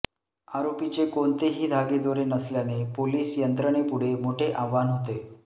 आरोपीचे कोणतेही धागेदोरे नसल्याने पोलिस यंत्रणेपुढे मोठे आव्हान होते